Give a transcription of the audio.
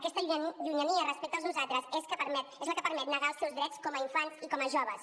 aquesta llunyania respecte al nosaltres és la que permet negar els seus drets com a infants i com a joves